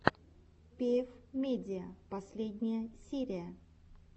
пиэф медиа последняя серия